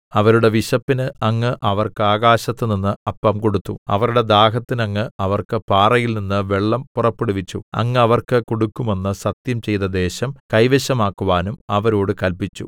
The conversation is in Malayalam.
അവരുടെ വിശപ്പിന് അങ്ങ് അവർക്ക് ആകാശത്തുനിന്ന് അപ്പം കൊടുത്തു അവരുടെ ദാഹത്തിന് അങ്ങ് അവർക്ക് പാറയിൽനിന്ന് വെള്ളം പുറപ്പെടുവിച്ചു അങ്ങ് അവർക്ക് കൊടുക്കുമെന്ന് സത്യംചെയ്ത ദേശം കൈവശമാക്കുവാനും അവരോട് കല്പിച്ചു